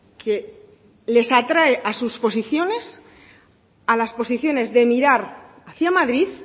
que les atrae a sus posiciones a las posiciones de mirar hacia madrid